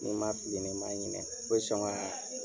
Ni ma fili ni ma ɲinɛ bɛ sɔn ka